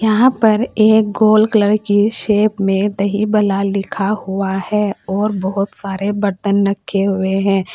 क्या यहां पर गोल कॉलर की शॉप में दही भला लिखा हुआ है और बहुत सारे बर्तन रखे हुए हैं।